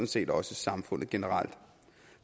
set også i samfundet generelt